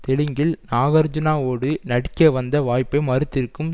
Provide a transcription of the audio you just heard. தெலுங்கில் நாகார்ஜூனாவோடு நடிக்க வந்த வாய்ப்பை மறுத்திருக்கும்